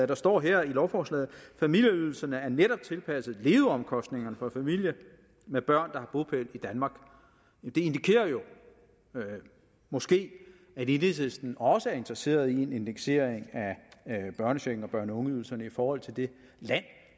der står her i lovforslaget familieydelserne er netop tilpasset leveomkostningerne for familier med børn der har bopæl i danmark det indikerer jo måske at enhedslisten også er interesseret i en indeksering af børnechecken og børne og ungeydelsen i forhold til det land